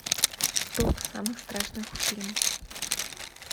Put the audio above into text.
топ самых страшных фильмов